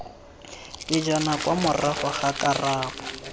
pejana kwa morago ga karabo